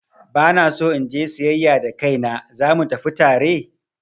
Ba na so in je siyayya da kaina, za mu tafi tare?